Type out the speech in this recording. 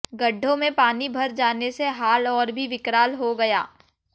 गड्डों में पानी भर जाने से हाल और भी विकराल हो गया